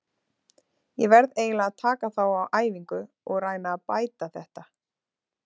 Ég verð eiginlega að taka þá á æfingu og reyna að bæta þetta.